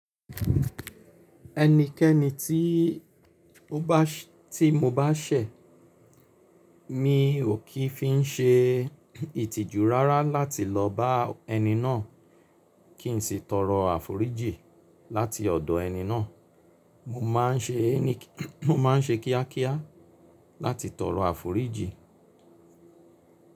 Ẹnikẹ́ni tí ó bá ti mo bá ṣẹ̀, mi ò kí i fi n ṣe ìtìjú rárá láti lọ bá ẹni náà kí n sì tọrọ àforíjì láti ọ̀dọ̀ ẹni náà. Mo má n ṣe ẹni, mo ma n ṣe kíá kíá láti tọrọ àforíjì.